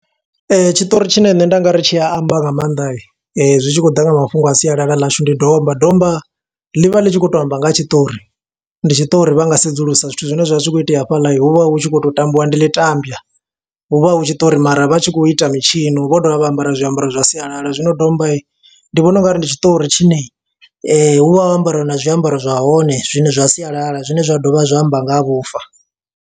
Tshiṱori tshine nṋe nda nga ri tshi a amba nga maanḓa, zwi tshi khou ḓa nga mafhungo a sialala ḽashu. Ndi domba, domba ḽi vha ḽi tshi khou to amba nga ha tshiṱori. Ndi tshiṱori vha nga sedzulusa zwithu zwine zwa vha zwi khou itea hafhaḽa, hu vha hu tshi khou to tambiwa. Ndi ḽi tambwa, hu vha hu tshiṱori mara vha tshi khou ita mitshino vho dovha vha ambara zwiambaro zwa sialala. Zwino domba ndi vhona ungari ndi tshiṱori tshine hu vha ho ambariwa na zwiambaro zwahone, zwine zwa sialala zwine zwa dovha zwa amba nga ha vhufa.